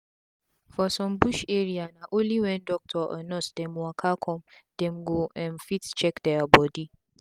for some bush area na only wen doctor or nurse dem waka come dem go um fit check dia bodi